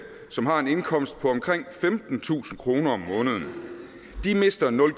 som har en indkomst på omkring femtentusind kroner om måneden de mister nul